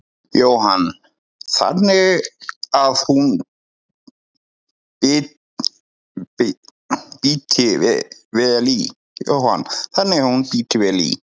Jóhann: Þannig að hún bíti vel í?